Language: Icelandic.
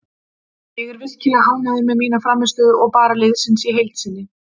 Ég er virkilega ánægður með mína frammistöðu og bara liðsins í heild sinni.